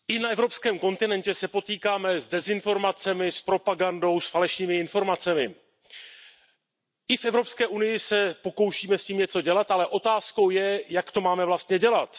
Pane předsedající, i na evropském kontinentě se potýkáme s dezinformacemi, s propagandou, s falešnými informacemi. I v Evropské unii se pokoušíme s tím něco dělat, ale otázkou je, jak to máme vlastně dělat.